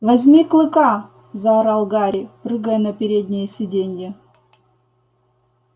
возьми клыка заорал гарри прыгая на переднее сиденье